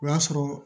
O y'a sɔrɔ